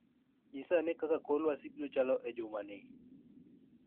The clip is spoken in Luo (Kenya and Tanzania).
Nyisa ane kaka kor lwasi biro chalo e jumani